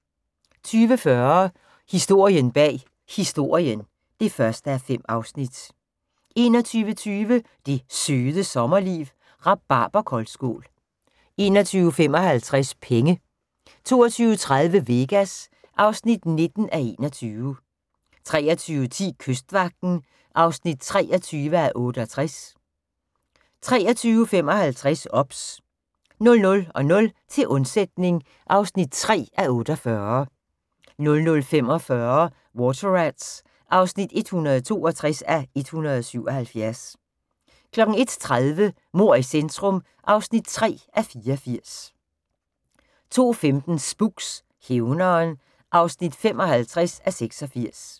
20:40: Historien bag Historien (1:5) 21:20: Det Søde Sommerliv – Rabarberkoldskål 21:55: Penge 22:30: Vegas (19:21) 23:10: Kystvagten (23:68) 23:55: OBS 00:00: Til undsætning (3:48) 00:45: Water Rats (162:177) 01:30: Mord i centrum (3:84) 02:15: Spooks: Hævneren (55:86)